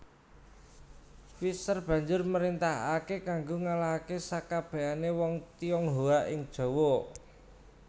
Visscher banjur mrintahake kanggo ngalahake sakabehane wong Tionghoa ing Jawa